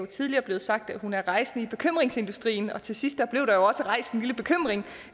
tidligere blevet sagt at hun er rejsende i bekymringsindustrien og til sidst blev der også rejst en lille bekymring